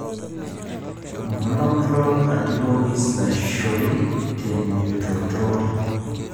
Monoclonal antibodies naishori tenjiudoto